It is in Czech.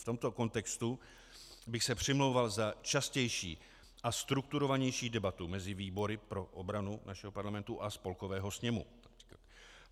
V tomto kontextu bych se přimlouval za častější a strukturovanější debatu mezi výbory pro obrany našeho parlamentu a Spolkového sněmu.